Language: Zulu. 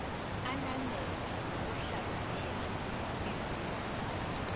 ananele ngokuhlaziya izinzwa